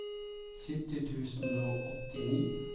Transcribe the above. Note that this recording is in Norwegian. sytti tusen og åttini